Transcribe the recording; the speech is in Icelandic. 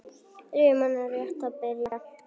Rimman er rétt að byrja.